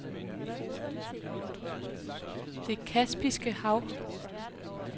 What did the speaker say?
Det Kaspiske Hav